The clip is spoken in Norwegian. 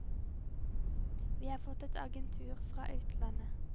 Vi har fått et agentur fra utlandet.